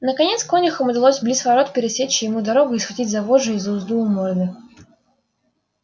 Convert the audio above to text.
наконец конюхам удалось близ ворот пересечь ему дорогу и схватить за вожжи и за узду у морды